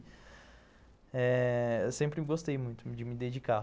Eu sempre gostei muito de me dedicar.